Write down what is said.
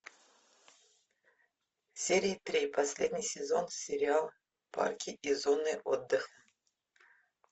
серия три последний сезон сериал парки и зоны отдыха